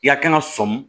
I ka kɛnɛ sɔmi